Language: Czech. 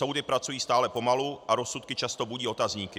Soudy pracují stále pomalu a rozsudky často budí otazníky.